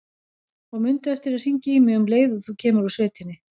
Og mundu eftir að hringja í mig um leið og þú kemur úr sveitinni.